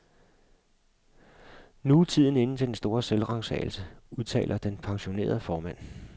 Nu er tiden inde til den store selvransagelse, udtaler den pensionerede formand.